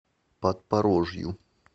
подпорожью